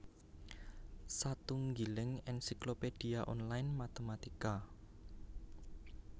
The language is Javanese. Satunggiling ensiklopédia online matématika